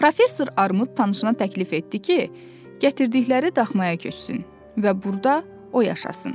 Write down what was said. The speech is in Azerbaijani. Professor Armud tanışına təklif etdi ki, gətirdikləri daxmaya köçsün və burda o yaşasın.